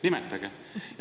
Nimetage!